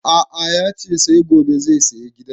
A'a yace sai gobe zai saya giyan